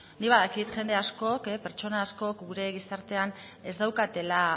beno nik badakit jende askok pertsona askok gure gizartean ez daukatela